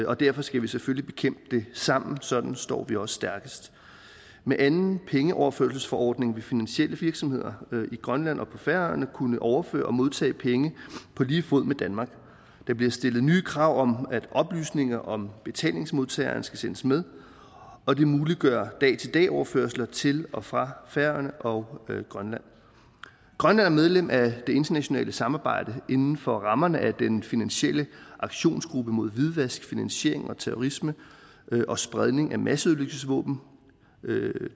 og derfor skal vi selvfølgelig bekæmpe det sammen sådan står vi også stærkest med anden pengeoverførselsforordning vil finansielle virksomheder i grønland og på færøerne kunne overføre og modtage penge på lige fod med danmark der bliver stillet nye krav om at oplysninger om betalingsmodtageren skal sendes med og det muliggør dag til dag overførsler til og fra færøerne og grønland grønland er medlem af det internationale samarbejde inden for rammerne af den finansielle aktionsgruppe mod hvidvask finansiering og terrorisme og spredning af masseødelæggelsesvåben